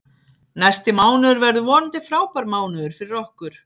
Næsti mánuður verður vonandi frábær mánuður fyrir okkur.